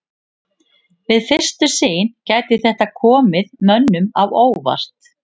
Við fyrstu sýn gæti þetta komið mönnum á óvart.